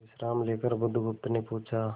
विश्राम लेकर बुधगुप्त ने पूछा